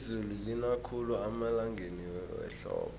izulu lina khulu emalangeni wehlobo